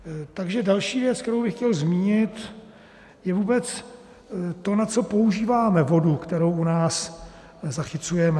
Takže další věc, kterou bych chtěl zmínit, je vůbec to, na co používáme vodu, kterou u nás zachycujeme.